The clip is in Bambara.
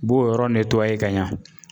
b'o yɔrɔ ka ɲa.